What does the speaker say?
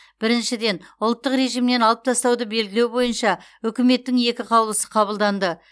біріншіден ұлттық режимнен алып тастауды белгілеу бойынша үкіметтің екі қаулысы қабылданды